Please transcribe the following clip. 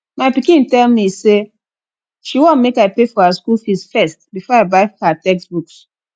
my pikin tell me say she wan make i pay for her school fees first before i buy her textbooks